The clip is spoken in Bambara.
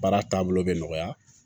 Baara taabolo bɛ nɔgɔya